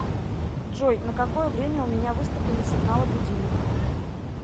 джой на какое время у меня выставлены сигналы будильника